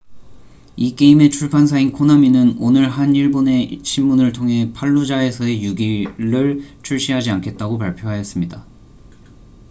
이 게임의 출판사인 코나미는 오늘 한 일본의 신문을 통해 팔루자에서의 6일six days in fallujah를 출시하지 않겠다고 발표하였습니다